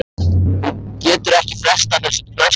Hún getur ekki frestað þessu til næsta kvölds.